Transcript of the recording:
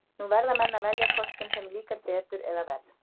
Nú verða menn að velja, hvort sem þeim líkar betur eða verr.